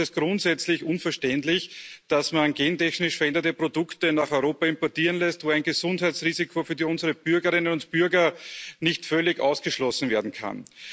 Für mich ist es grundsätzlich unverständlich, dass man gentechnisch veränderte Produkte nach Europa importieren lässt, wo ein Gesundheitsrisiko für unsere Bürgerinnen und Bürger nicht völlig ausgeschlossen werden kann.